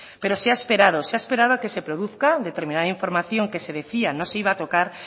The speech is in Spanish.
pero se ha esperado se ha esperado a que se produzca determinada información que se decía no se iba a tocar